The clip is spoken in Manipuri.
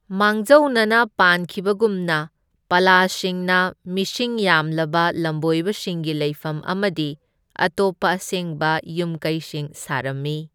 ꯃꯥꯡꯖꯧꯅꯅ ꯄꯥꯟꯈꯤꯕꯒꯨꯝꯅ, ꯄꯥꯂꯥꯁꯤꯡꯅ ꯃꯁꯤꯡ ꯌꯥꯝꯂꯕ ꯂꯝꯕꯣꯏꯕꯁꯤꯡꯒꯤ ꯂꯩꯐꯝ ꯑꯃꯗꯤ ꯑꯇꯣꯞꯄ ꯑꯁꯦꯡꯕ ꯌꯨꯝꯀꯩꯁꯤꯡ ꯁꯥꯔꯝꯃꯤ꯫